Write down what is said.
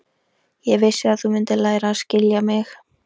Ég vissi að þú mundir læra að skilja mig.